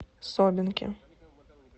собинке